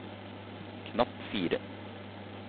knapp fire